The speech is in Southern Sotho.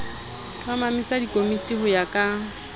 hlomamisa dikomiti ho ya ka